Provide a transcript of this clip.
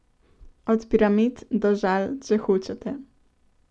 Od piramid, do Žal, če hočete!